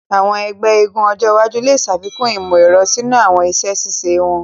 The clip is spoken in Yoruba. Àwọn egbé eégún ojo iwájú le ṣàfikún imọ-ẹrọ sínú àwọn iṣẹ ṣiṣe wón.